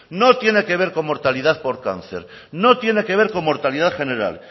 no tiene que ver con mortalidad por cáncer no tiene que ver con mortalidad general